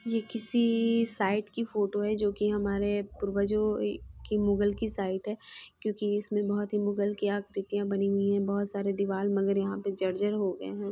ये कीसी साइट की फोटो है जो की हमारे पूर्वजों की मुग़ल की साइट ह क्योंकि इसमें बहुत ही मुग़ल की आकृतियां बनी हुई हैं बहुत सारे दिवाल मगर यहाँ पे जर-जर हो गए हैं।